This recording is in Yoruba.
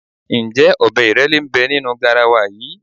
Ǹjẹ́ ọbẹ̀ ìrẹ́lé ń bẹ nínú garawa yìí?